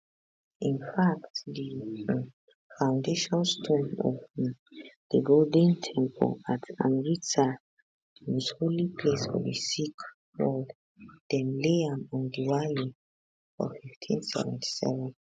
in fact di um foundation stone of um di golden temple at amritsar di most holy place for di sikh world dem lay am on diwali for1577